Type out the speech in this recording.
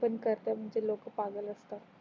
पण करतात ते लोक पागल असतात